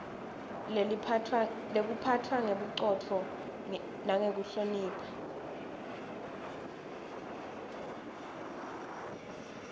lekuphatfwa ngebucotfo nekuhlonishwa